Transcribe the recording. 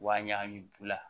Wa ɲagami bu la